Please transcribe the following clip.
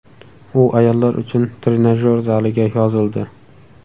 U ayollar uchun trenajyor zaliga yozildi.